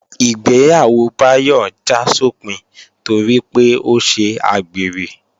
Ìgbéyàwó Báyọ̀ já sópin torí pé ó ṣe àgbèrè